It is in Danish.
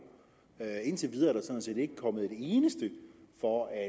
indtil videre er der sådan set ikke kommet et eneste for at